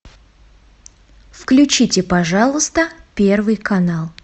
включите пожалуйста первый канал